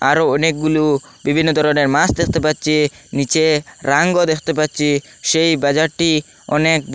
আরও অনেকগুলো বিভিন্ন দরনের মাস দেখতে পাচ্চি নীচে রাঙ্গও দেখতে পাচ্চি সেই বাজারটি অনেক ব--